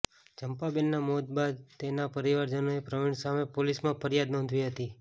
ચંપાબેનનાં મોત બાદ તેના પરિવારજનોએ પ્રવીણ સામે પોલીસમાં ફરિયાદ નોંધાવી હતી